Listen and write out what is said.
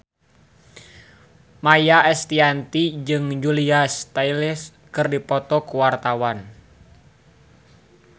Maia Estianty jeung Julia Stiles keur dipoto ku wartawan